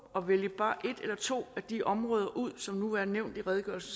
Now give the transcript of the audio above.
at vælge bare et eller to af de områder ud som nu er nævnt i redegørelsen